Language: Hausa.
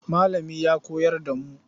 Malamin ya koyar da mu.